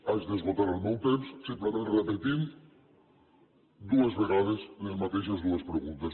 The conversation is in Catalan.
haig d’esgotar el meu temps simplement repetint dues vegades les mateixes dues preguntes